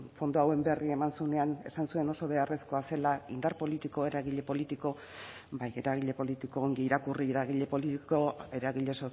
fondo hauen berri eman zuenean esan zuen oso beharrezkoa zela indar politiko eragile politiko bai eragile politiko ongi irakurri eragile politiko eragile